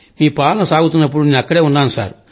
మీ పాలన సాగుతున్నప్పుడు నేను అక్కడే ఉన్నాను సార్